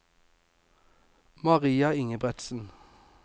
Maria Ingebretsen